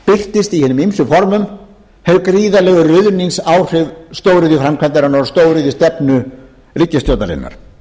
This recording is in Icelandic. birtist í hinum ýmsu formum þau gríðarlegu ruðningsáhrif stóriðjuframkvæmdarinnar og stóriðjustefnu ríkisstjórnarinnar